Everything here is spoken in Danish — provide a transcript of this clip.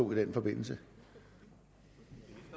gennemarbejdet